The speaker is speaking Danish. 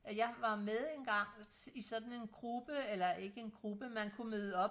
jeg var med engang i sådan en gruppe eller ikke en gruppe man kunne møde op